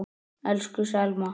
Elsku Selma.